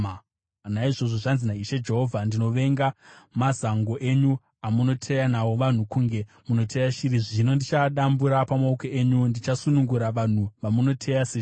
“ ‘Naizvozvo, zvanzi naIshe Jehovha: Ndinovenga mazango enyu amunoteya nawo vanhu kunge munoteya shiri, zvino ndichaadambura pamaoko enyu; ndichasunungura vanhu vamunoteya seshiri.